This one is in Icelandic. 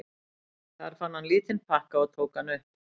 Þar fann hann lítinn pakka og tók hann upp.